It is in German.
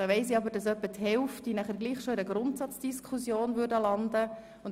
Ich weiss aber, dass mindestens die Hälfte der Sprecher bereits in einer Grundsatzdiskussion landen würde.